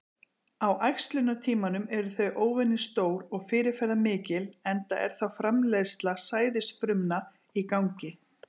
Á æxlunartímanum eru þau óvenju stór og fyrirferðamikil enda er þá framleiðsla sæðisfrumna í gangi.